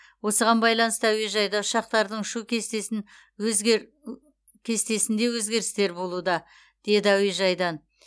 осыған байланысты әуежайда ұшақтардың ұшу кестесін өзгер кестесінде өзгерістер болуда деді әуежайдан